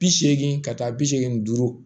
Bi seegin ka taa bi seegin duuru